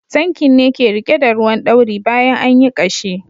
Tankin ne ke rike da ruwan ɗauri bayan anyi ƙashi.